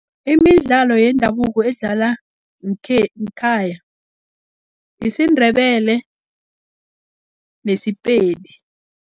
Imidlalo yendabuko edlalwa ngekhaya yisiNdebele, neSepedi.